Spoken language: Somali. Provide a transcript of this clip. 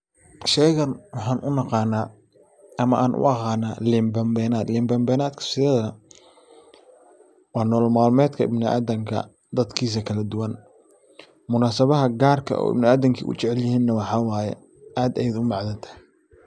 Shaygan waxaan u naqana ama aan u aqana liin been beenaad. Liin been beenadka sideedaba waa nolal maalmeedka ibniadamka dadkiisa kala duban munasabaha gaar ka ah oo ibnidamka u jecelyihiin ne waxaa waye aad ayay u macantahy.